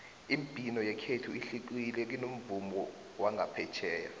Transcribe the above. imibhino yekhethu ihlukile kunomvumo wangaphetjheya